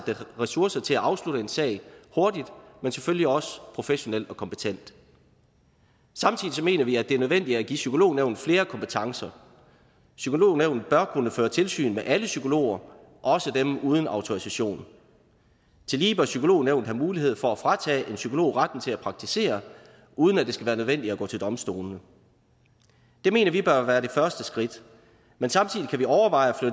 er ressourcer til at afslutte en sag hurtigt men selvfølgelig også professionelt og kompetent samtidig mener vi at det er nødvendigt at give psykolognævnet flere kompetencer psykolognævnet bør kunne føre tilsyn med alle psykologer også dem uden autorisation tillige bør psykolognævnet have mulighed for at fratage en psykolog retten til at praktisere uden at det skal være nødvendigt at gå til domstolene det mener vi bør være det første skridt men samtidig kan vi overveje at